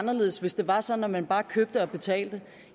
anderledes hvis det var sådan at man bare købte og betalte